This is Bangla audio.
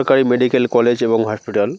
সরকারি মেডিক্যাল কলেজ এবং হসপিটাল ।